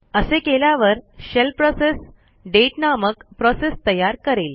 असे केल्यावर shell process date नामक प्रोसेस तयार करेल